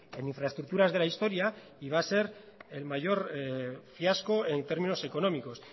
en infraestructuras de la historia y va a ser el mayor fiasco en términos económicos